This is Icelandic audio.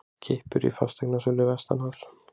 Kippur í fasteignasölu vestanhafs